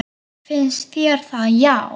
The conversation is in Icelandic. Finnst þér það já.